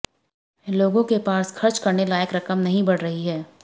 लोगों के पास खर्च करने लायक रकम नहीं बढ़ रही है